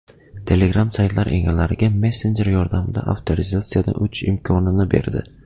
Telegram saytlar egalariga messenjer yordamida avtorizatsiyadan o‘tish imkonini berdi.